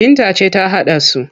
Binta ce ta haɗa su,